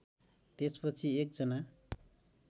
त्यसपछि एक जना